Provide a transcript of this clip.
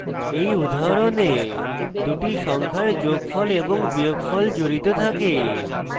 এই উদাহরণে দুটি সংখ্যার যোগফল এবং বিয়োগফল জড়িত থাকে